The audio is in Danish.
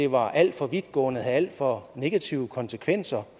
var alt for vidtgående og havde alt for negative konsekvenser